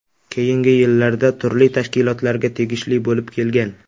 Keyingi yillarda turli tashkilotlarga tegishli bo‘lib kelgan.